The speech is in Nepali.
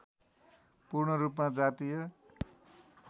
पूर्णरूपमा जातीय